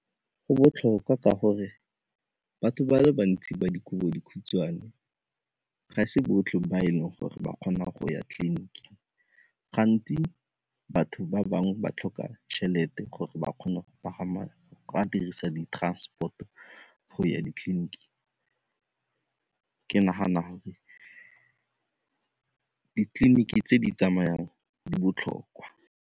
Go botlhokwa ka gore batho ba le bantsi ba dikobodikhutshwane ga e se botlhe ba e leng gore ba kgona go ya tliliniking, gantsi batho ba bangwe ba tlhoka tšhelete gore ba kgona go pagama a dirisa di-transport-o go ya ditleliniking. Ke ke nagana gore ditleliniki tse di tsamayang di botlhokwa.